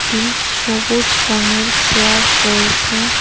সবুজ রঙের চেয়ার রয়েছে।